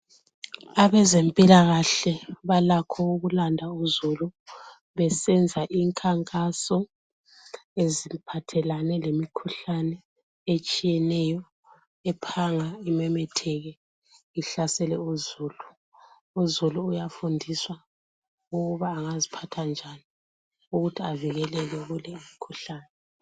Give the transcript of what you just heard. Abezempilakahle balakho ukulanda uzulu besenza imkhankaso eziphathelane lemikhuhlane etshiyeneyo ephanga imemetheke ihlasele uzulu. Uzulu uyafundiswa ukuthi angaziphatha njani ukuthi avikeleke kuleyi mikhuhlane.